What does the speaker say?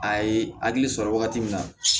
A ye hakili sɔrɔ wagati min na